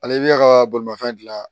Ale i bɛ ya ka bolimafɛn dilan